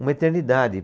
uma eternidade.